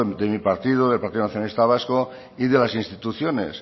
de mi partido del partido nacionalista vasco y de las instituciones